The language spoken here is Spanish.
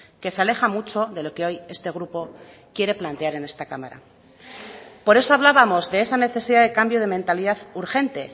que se aleja mucho de lo que hoy este grupo quiere plantear en esta cámara por eso hablábamos de esa necesidad de cambio de mentalidad urgente